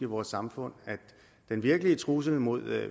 vores samfund at den virkelige trussel mod